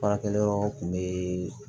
Baarakɛyɔrɔ kun be